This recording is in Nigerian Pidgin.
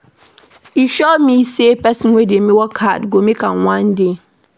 E sure me sey pesin wey dey work hard go make am one day.